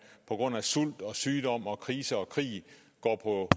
på grund af sult og sygdom og krise og krig går på